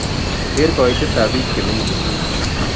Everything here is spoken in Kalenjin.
Ker kaiitetap biik chemenye kisumu